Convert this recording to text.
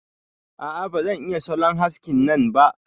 A'a ba zan iya salon haskin nan ba.